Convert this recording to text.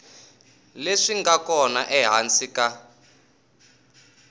leswi nga kona ehansi ka